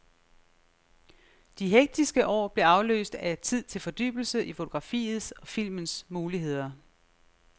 De hektiske år blev afløst af tid til fordybelse i fotografiets og filmens muligheder.